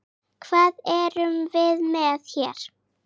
Hvað erum við með hér?